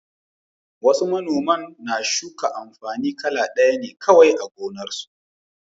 Wasu manoman na shuka amfani kala ɗaya ne kawai a gonarsu.